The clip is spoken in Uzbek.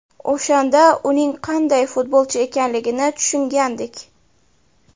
O‘shanda uning qanday futbolchi ekanligini tushungandik.